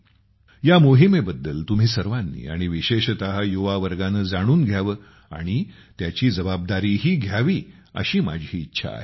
या मोहिमेबद्दल तुम्ही सर्वांनी आणि विशेषत युवा वर्गाने जाणून घ्यावे आणि त्याची जबाबदारीही घ्यावी अशी माझी इच्छा आहे